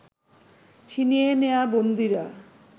ছিনিয়ে নেয়া বন্দীরা